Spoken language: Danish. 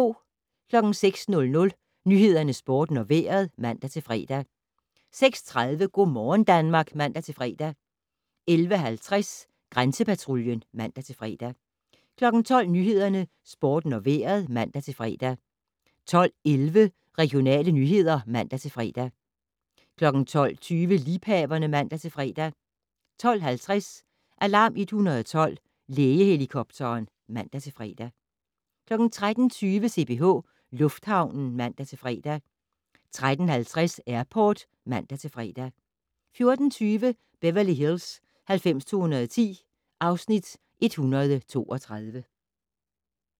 06:00: Nyhederne, Sporten og Vejret (man-fre) 06:30: Go' morgen Danmark (man-fre) 11:30: Grænsepatruljen (man-fre) 12:00: Nyhederne, Sporten og Vejret (man-fre) 12:11: Regionale nyheder (man-fre) 12:20: Liebhaverne (man-fre) 12:50: Alarm 112 - Lægehelikopteren (man-fre) 13:20: CPH Lufthavnen (man-fre) 13:50: Airport (man-fre) 14:25: Beverly Hills 90210 (Afs. 132)